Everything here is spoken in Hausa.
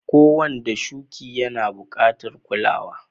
Ko wanda shuki yana bukatan kulawa.